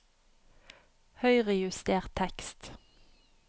Høyrejuster tekst